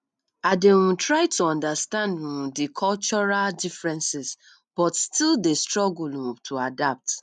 i dey um try to understand um di cultural differences but still dey struggle um to adapt